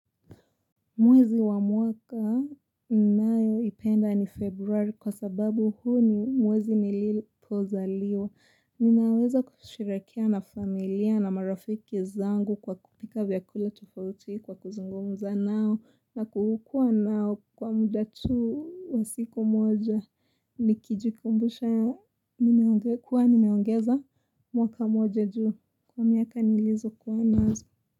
Mwezi wa mwaka ninayoipenda ni februari kwa sababu huu ni mwezi nilipozaliwa. Ninaweza kusherehekea na familia na marafiki zangu kwa kupika vyakula tofauti kwa kuzungumza nao na kukua nao kwa muda tu wa siku moja. Nikijikumbusha kuwa nimeongeza mwaka moja juu kwa miaka nilizokuwa nazo.